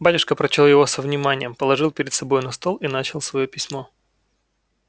батюшка прочёл его со вниманием положил перед собой на стол и начал своё письмо